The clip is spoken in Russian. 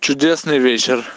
чудесный вечер